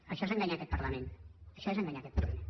això és enganyar aquest parlament això és enganyar aquest parlament